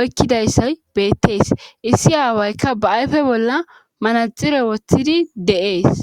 oykkidayssay beettees issi aawaykka ba ayfe bolla manaxire woththidi de7ees